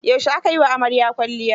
Yaushe aka yi wa amarya kwalliya.